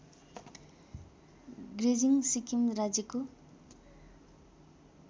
गेजिङ सिक्किम राज्यको